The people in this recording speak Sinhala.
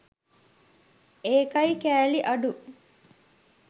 ඒකයි කෑලි අඩු